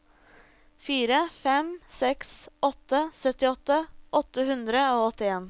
fire fem seks åtte syttiåtte åtte hundre og åttien